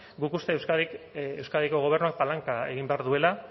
guk uste euskadiko gobernua palanka egin behar duela